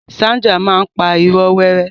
Sandra máa n pa ìró wẹ́rẹ́.